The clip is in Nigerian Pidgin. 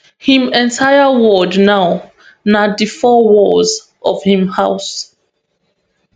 im entire world now na di four walls of im house